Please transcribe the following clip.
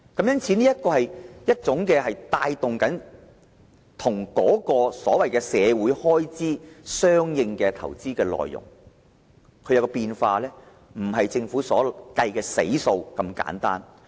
因此，這是一種帶動社會開支的相應投資，因應政府政策而有所變化，不如政府計算的"死數"般單一。